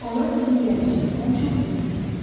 Onlar bizim gəlişimizdən çox sevindilər.